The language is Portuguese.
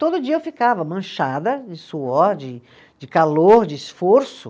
Todo dia eu ficava manchada de suor, de de calor, de esforço.